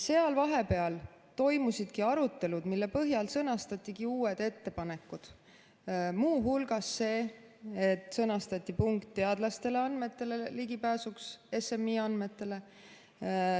Seal vahepeal toimusid arutelud, mille põhjal sõnastatigi uued ettepanekud, muu hulgas see, et sõnastati punkt teadlaste ligipääsuks SMI andmetele.